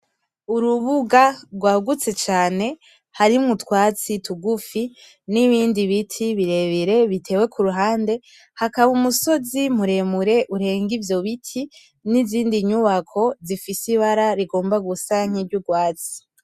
Urubuga rwagutse cane harimwo utwatsi tugufi n'ibindi biti birebire bitewe ku ruhande. Hakaba umusozi muremure urenga ivyo biti n'izindi nyubako zifise ibara rigomba gusa nk'iryurwatsi.